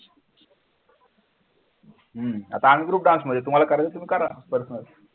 हम्म आता मी group dance मध्ये तुम्हाला करायचे तुम्ही करा. personal